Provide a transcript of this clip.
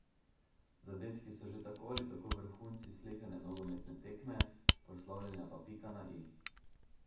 Zadetki so že tako ali tako vrhunci sleherne nogometne tekme, proslavljanja pa pika na i.